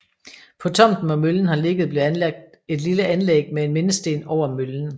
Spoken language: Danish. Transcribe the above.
På tomten hvor møllen har ligget blev anlagt et lille anlæg med en mindesten over møllen